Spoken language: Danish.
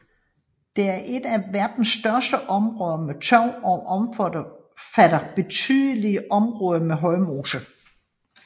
Det er et af verdens største områder med tørv og omfatter betydelige områder med højmose